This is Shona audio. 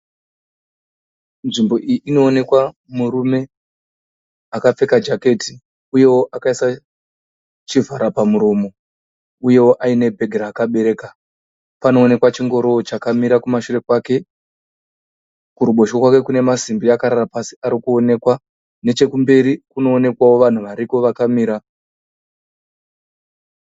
Nzvimbo iyi Inoonekwa murume akapfeka jaketi uyewo akaisa chivhara pamuromo , uyewo aine bhegi raakabereka. Panoonekwa chingorowo chakamira kumashure kwake. Kuruboshwe kwake kune masimbi akarara pasi arikuonekwa nechekumberi kunoonekwawo vanhu variko vakamira.